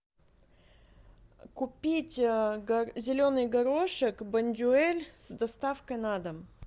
купить зеленый горошек бондюэль с доставкой на дом